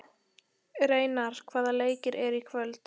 Reynar, hvaða leikir eru í kvöld?